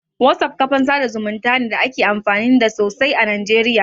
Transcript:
WhatsApp kafan sa da zumunta ne da ake amfani da sosai a Najeriya.